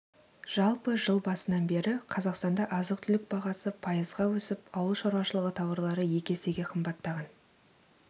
жалпы жыл басынан бері қазақстанда азық-түлік бағасы пайызға өсіп ауыл шаруашылығы тауарлары екі есеге қымбаттаған